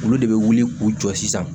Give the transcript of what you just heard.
Olu de bɛ wuli k'u jɔ sisan